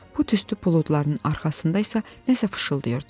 bu tüstü buludlarının arxasında isə nəsə fışıltıtdı.